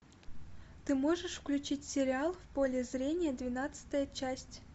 ты можешь включить сериал в поле зрения двенадцатая часть